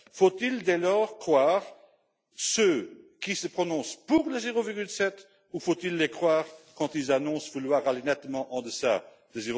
Faut il, dès lors, croire ceux qui se prononcent pour le 0,7 ou faut il les croire quand ils annoncent vouloir aller nettement en deçà de